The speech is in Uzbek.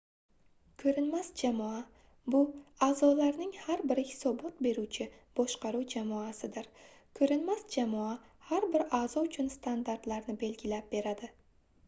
"ko'rinmas jamoa — bu a'zolarning har biri hisobot beruvchi boshqaruv jamoasidir. ko'rinmas jamoa har bir a'zo uchun standartlarni belgilab beradi